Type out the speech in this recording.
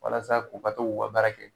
Walasa k'u ka to k'u ka baara kɛ